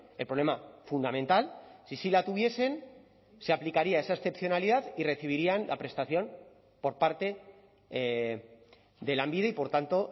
el problema fundamental si sí la tuviesen se aplicaría esa excepcionalidad y recibirían la prestación por parte de lanbide y por tanto